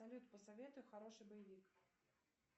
салют посоветуй хороший боевик